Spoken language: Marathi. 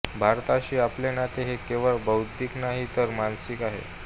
भारताशी आपले नाते हे केवळ बौद्धिक नाही तर मानसिक आहे